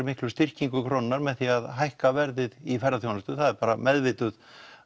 miklu styrkingu krónunnar með því að hækka verðið í ferðaþjónustu og það er bara meðvituð